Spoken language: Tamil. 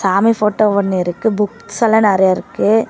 சாமி போட்டோ ஒன்னு இருக்கு புக்ஸ் எல்லாம் நறைய இருக்கு.